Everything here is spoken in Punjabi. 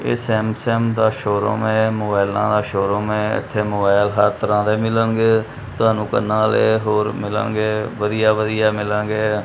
ਇਹ ਸੈਮਸੰਗ ਦਾ ਸ਼ੋਰੂਮ ਹੈ ਮੋਬਾਈਲਾਂ ਦਾ ਸ਼ੋਰੂਮ ਹੈ ਇੱਥੇ ਮੋਬਾਈਲ ਹਰ ਤਰਹਾਂ ਦੇ ਮਿਲਨਗੇ ਤੁਹਾਨੂੰ ਕੰਨਾਂ ਦੇ ਹੋਰ ਮਿਲਨਗੇ ਵਧੀਆ ਵਧੀਆ ਮਿਲਾਂਗੇ।